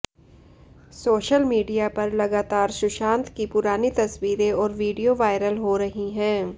social media पर लगातार सुशांत की पुरानी तस्वीरें और वीडियो वायरल हो रही है